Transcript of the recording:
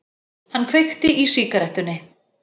Hann kveikti í sígarettunni.